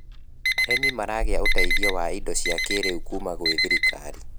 arĩmi maragia uteithio wa indo cia kĩiriu kuma gwi thirikari